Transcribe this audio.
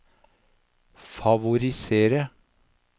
favorisere